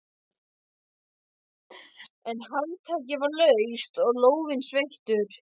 En handtakið var laust og lófinn sveittur.